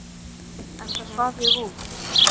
Enda svaf ég út.